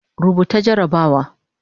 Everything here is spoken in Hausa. Rubuta jarrabawa